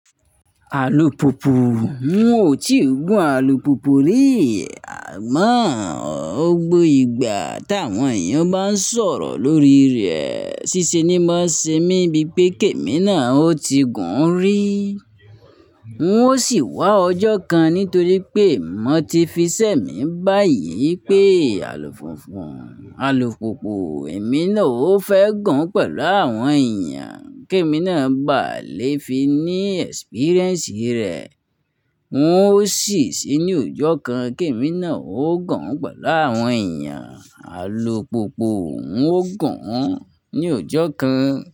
Àlùpùpù, n ò tí gùn àlùpùpù rí, àmọ́ ọ gbó ìgbà táwọn èèyàn bá ń sọ̀rọ̀ lórí rẹ̀, ṣíṣe ni ó máa ń ṣe mí bíi pé Kẹ́mi náà ó ti gùn ún rí. N ó sì wá ọjọ́ kan nítorí pé mo ti fi sẹ́ mi báyìí pé àlùfúnfùn, àlùpùpù ẹ̀ mi náà ó fẹ́ gùn pẹ̀lú àwọn èèyàn, Kẹ́mi náà ba lè fi ní ẹ́spríréǹsì rẹ̀. N ó sì sí ní ọjọ́ kan, Kẹ́mi náà ó gùn pẹ̀lú àwọn èèyàn, àlùpùpù n ó gùn ún ní ọjọ́ kan.